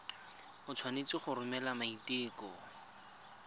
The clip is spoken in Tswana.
o tshwanetse go romela maiteko